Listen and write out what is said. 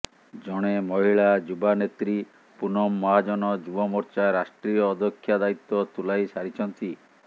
ଜଣେ ମହିଳା ଯୁବା ନେତ୍ରୀ ପୁନମ ମହାଜନ ଯୁବ ମୋର୍ଚ୍ଚା ରାଷ୍ଟ୍ରୀୟ ଅଧ୍ୟକ୍ଷା ଦାୟିତ୍ୱ ତୁଲାଇ ସାରିଛନ୍ତି